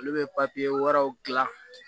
Olu bɛ wɛrɛw gilan